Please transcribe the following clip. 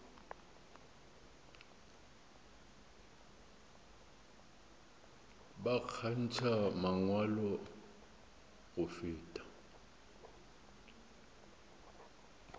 ba kgantšha mangwalo go feta